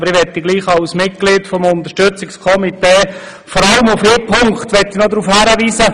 Ich möchte gleichwohl als Mitglied des Unterstützungskomitees vor allem noch auf einen Punkt hinweisen.